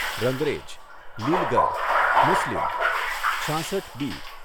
રંગરેજ, લીલગર મુસ્લિમ છાસઠ બી.